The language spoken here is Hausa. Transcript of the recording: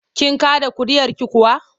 Kin kaɗa ƙuri'arki kuwa?